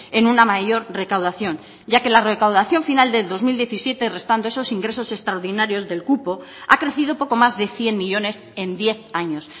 en una mayor recaudación ya que la recaudación final del dos mil diecisiete restando esos ingresos extraordinarios del cupo ha crecido poco más de cien millónes en diez años